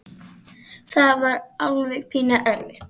Það var alveg pínu erfitt.